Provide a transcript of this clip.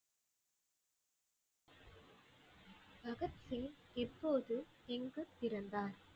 பகத் சிங் எப்போது, எங்குப் பிறந்தார்?